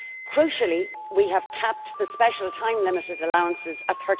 Crucially we have capped the special time limited allowance at